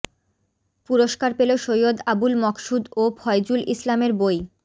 পুরস্কার পেল সৈয়দ আবুল মকসুদ ও ফয়জুল ইসলামের বই